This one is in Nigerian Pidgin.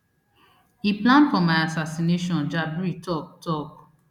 e plan for my assassination jabri tok tok